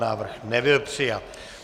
Návrh nebyl přijat.